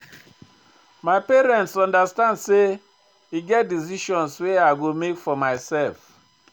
My parents understand sey e get decisions wey I go make for mysef.